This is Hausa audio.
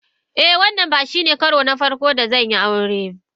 Eh, wannan ba shine karo na farko da zan yi aure.